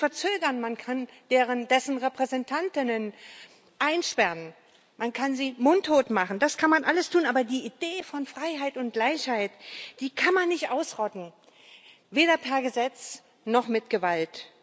Man kann ihn verzögern, man kann dessen Repräsentantinnen einsperren, man kann sie mundtot machen das kann man alles tun, aber die Idee von Freiheit und Gleichheit, die kann man nicht ausrotten weder per Gesetz noch mit Gewalt.